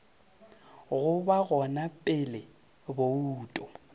go ba gona pele bouto